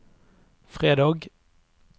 fredag